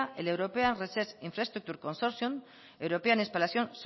el european research infraestructure consortium european spallation